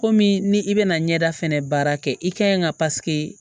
Komi ni i bɛna ɲɛda fɛnɛ baara kɛ i ka ɲi ka